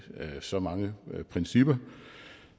så mange principper